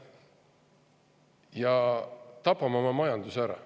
Me tapame oma majanduse ära.